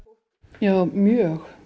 já mjög